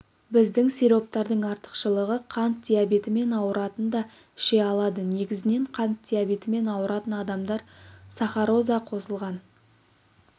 біздің сироптардың артықшылығы қант диабетімен ауыратындар да іше алады негізінен қант диабетімен ауыратын адамдар сахароза қосылған